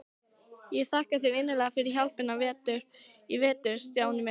Ég þakka þér innilega fyrir hjálpina í vetur, Stjáni minn.